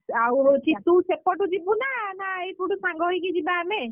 ତୁ ସେପଟୁ ଯିବୁ ନା, ଏପଟୁ ସାଙ୍ଗ ହେଇକି ଯିବା ଆମେ?